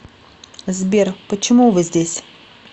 сбер почему вы здесь